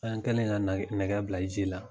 An kɛlen ka nɛgɛ bila ji la.